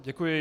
Děkuji.